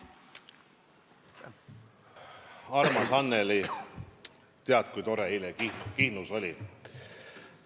Armas Annely, tead, kui tore eile Kihnus oli!